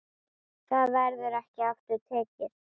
Það verður ekki aftur tekið.